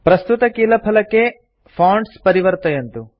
प्रस्तुतकीलफलके keyboard fonts परिवर्तयन्तु